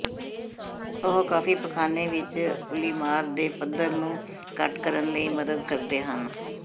ਉਹ ਕਾਫ਼ੀ ਪਖਾਨੇ ਵਿੱਚ ਉੱਲੀਮਾਰ ਦੇ ਪੱਧਰ ਨੂੰ ਘੱਟ ਕਰਨ ਲਈ ਮਦਦ ਕਰਦੇ ਹਨ